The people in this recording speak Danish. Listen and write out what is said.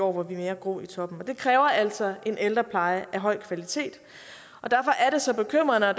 hvor vi er mere grå i toppen og det kræver altså en ældrepleje af høj kvalitet derfor er det så bekymrende og